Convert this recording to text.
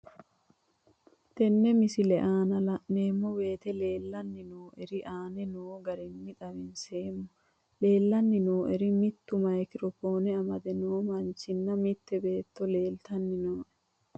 Tenne misile aana laeemmo woyte leelanni noo'ere aane noo garinni xawiseemmo. Leelanni noo'erri mittu micro phone amade noo manchinna mitte beeto leeltanni nooe.